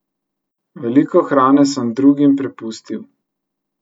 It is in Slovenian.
Veliko hrane sem drugim prepustil.